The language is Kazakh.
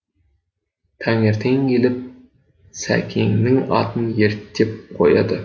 таңертең келіп сәкеннің атын ерттеп қояды